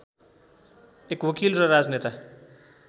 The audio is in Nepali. एक वकिल र राजनेता